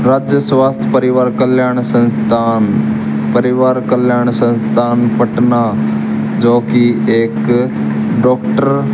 वृद्ध राज्य स्वास्थ्य परिवार कल्याण संस्थान परिवार कल्याण संस्थान पटना जोकि एक डॉक्टर --